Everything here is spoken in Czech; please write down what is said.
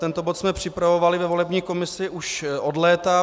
Tento bod jsme připravovali ve volební komisi už od léta.